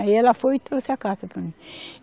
Aí ela foi e trouxe a carta para mim.